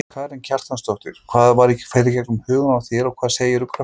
Karen Kjartansdóttir: Hvað fer í gegnum hugann á þér og hvað segirðu krökkunum?